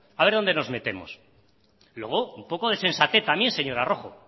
a ver dónde nos metemos luego un poco de sensatez también señora rojo